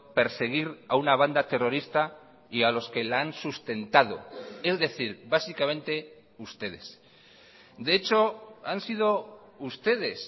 perseguir a una banda terrorista y a los que la han sustentado es decir básicamente ustedes de hecho han sido ustedes